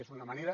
és una manera